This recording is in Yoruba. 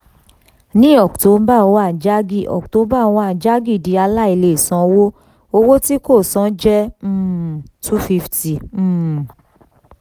ní october one jaggi october one jaggi di aláìlèsanwó owó tí kò san jẹ́ um two fifty um